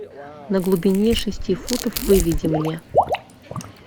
на глубине шести футов выведи мне